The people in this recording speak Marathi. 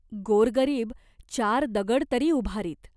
गोरगरीब चार दगड तरी उभारीत.